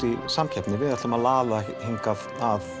í samkeppni við ætlum að laða hingað